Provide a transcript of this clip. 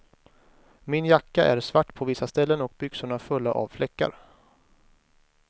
Min jacka är svart på vissa ställen och byxorna fulla av fläckar.